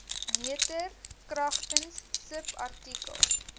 meter kragtens subartikel